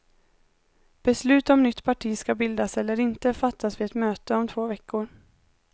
Beslut om nytt parti skall bildas eller inte fattas vid ett möte om två veckor.